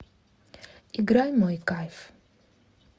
играй мой кайф